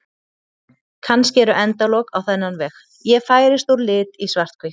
Kannski eru endalok á þennan veg: Ég færist úr lit í svarthvítt.